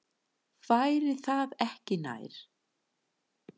Væri það ekki nær?